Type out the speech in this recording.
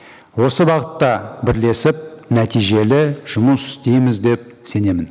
осы бағытта бірлесіп нәтижелі жұмыс істейміз деп сенемін